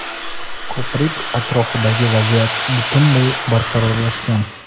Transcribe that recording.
ko‘prik atrofidagi vaziyat butunlay barqarorlashgan.